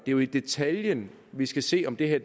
jo i detaljen vi skal se om det her